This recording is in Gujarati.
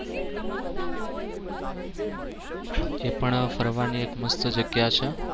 એ પણ ફરવાની એક મસ્ત જગ્યા છે.